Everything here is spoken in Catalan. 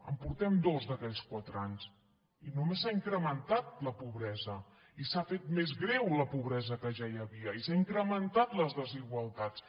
en portem dos d’aquells quatre anys i només s’ha incrementat la pobresa i s’ha fet més greu la pobresa que ja hi havia i s’han incrementat les desigualtats